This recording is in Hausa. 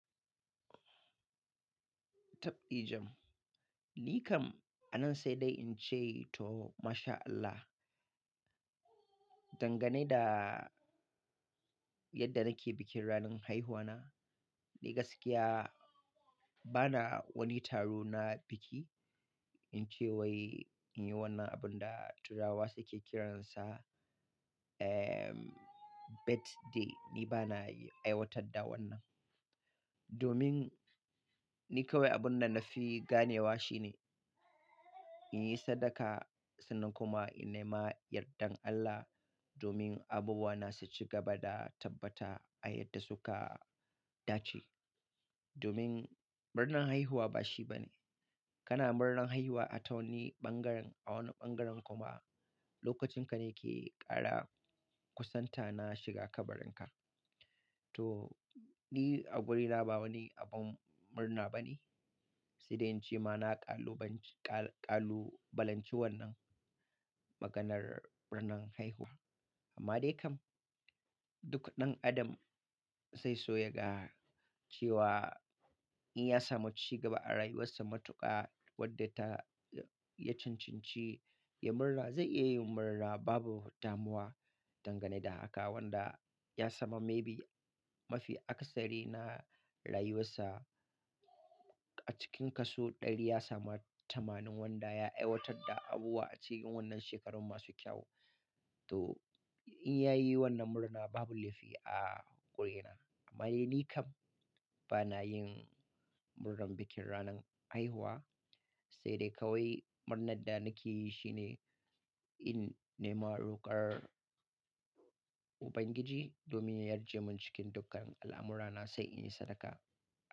Tabdi jam. Ni kam a nan sai dai in ce to masha Allah. Dangane da yadda nake bikin ranar haihuwana, ni gaskiya bana wani taro na biki in ce wai in yi wannan abun da turawa suke kiransa, ehm, birthday. Ni bana aiwatar da wannan. Domin ni kawai abun da na fi ganewa shine in yi sadaka sannan kuma in nema yardar Allah domin abuwana su ci gaba da tabbata a yadda suka dace. Domin murnan haihuwa ba shi bane. Kana murnan haihuwa a wani ɓangaren, a wani ɓangaren kuma lokacin ka ne ke ƙara kusanta na shiga kabarin ka. To, ni a wurina ba wani abun murna bane. Sai dai in ce ma na kalubalanci wannan maganar murnan haihuwa. Amma dai kam duk ɗan adam zai so ya ga cewa in ya samu ci gaba a rayuwarsa matuƙa wadda ta- ya cincinci ya murna, zai iya yin murna babu mai damuwa dangane da haka wanda ya samu maybe mafi akasari na rayuwarsa. A cikin kaso ɗari ya sami tamanin wanda ya aiwatar da abubuwa a cikin wannan shekarun masu kyau. To, in ya yi wannan murna babu laifi a wurina. Amma ni kam bana yin murnar bikin ranar haihuwa. Sai dai kawai murnar da nake yi shi ne in nema roƙar Ubangiji domin ya yarje mun cikin dukkan al'amurana sai in yi sadaka.